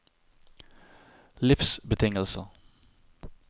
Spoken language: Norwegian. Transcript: livsbetingelser